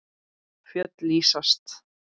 Fjöll lýsast.